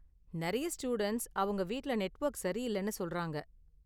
நெறைய ஸ்டூடண்ட்ஸ் அவங்க வீட்டுல நெட்வொர்க் சரியில்லனு சொல்றாங்க.